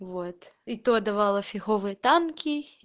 вот и то давало фиговый танки